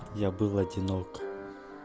я был одинок